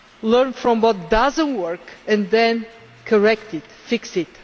Learn from what does not work and then correct it fix it.